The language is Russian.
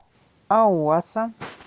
ауаса